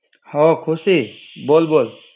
હા ખુશી. બોલ બોલ.